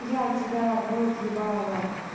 я тебя в рот ебала